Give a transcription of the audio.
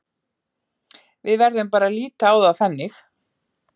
Við verðum bara að líta á það þannig.